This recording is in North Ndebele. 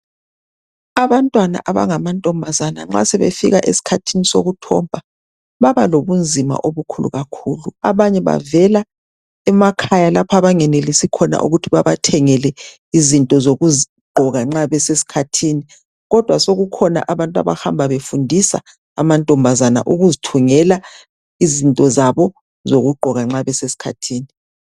Abantwana abangamantombazana nxa sebefika eskhathini sokuthomba .Baba lobunzima. obukhulu kakhulu .Abanye bavela emakhaya lapho abangenelisi khona ukuthi babathengele izinto zokugqoka nxa besekhathini kodwa sokukhona abantu abahamba befundisa amantomabazana ukuzithungela izinto zabo zokugqoka nxa beseskhathini .